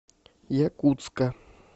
якутска